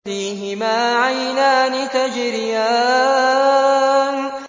فِيهِمَا عَيْنَانِ تَجْرِيَانِ